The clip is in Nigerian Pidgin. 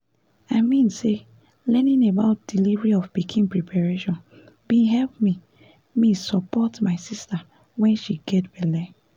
i mean say learning about delivery of pikin preparation bin help me me support my sister when she get belle